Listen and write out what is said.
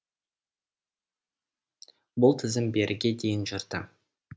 бұл тізім беріге дейін жүрді